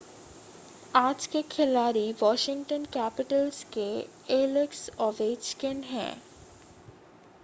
आज के खिलाड़ी वॉशिगंटन कैपिटल्स के एलेक्स ओवेचकिन हैं